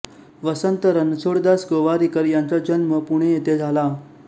वसंत रणछोडदास गोवारीकर यांचा जन्म पुणे येथे झाला